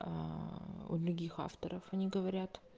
у других авторов они говорят